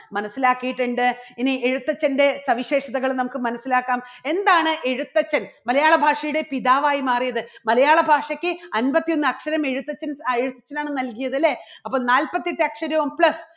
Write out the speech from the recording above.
മനസ്സിലാക്കിയിട്ടുണ്ട്. ഇനി എഴുത്തച്ഛൻറെ സവിശേഷതകളും നമുക്ക് മനസ്സിലാക്കാം എന്താണ് എഴുത്തച്ഛൻ മലയാളഭാഷയുടെ പിതാവായി മാറിയത് മലയാളഭാഷയ്ക്ക് അൻപത്തിഒന്ന് അക്ഷരം എഴുത്തച്ഛൻ എഴുത്തച്ഛനാണ് നൽകിയത് അല്ലേ? അപ്പോൾ നാല്പത്തിയെട്ട് അക്ഷരവും plus